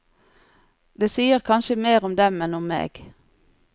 Det sier kanskje mer om dem enn om meg.